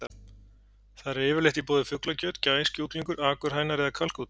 Þar er yfirleitt í boði fuglakjöt: gæs, kjúklingur, akurhænur eða kalkúnn.